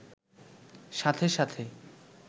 সাথে সাথে